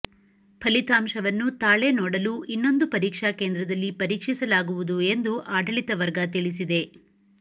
ಫಲಿತಾಂಶವನ್ನು ತಾಳೆ ನೋಡಲು ಇನ್ನೊಂದು ಪರೀಕ್ಷಾ ಕೇಂದ್ರದಲ್ಲಿ ಪರೀಕ್ಷಿಸಲಾಗುವುದು ಎಂದು ಆಡಳಿತ ವರ್ಗ ತಿಳಿಸಿದೆ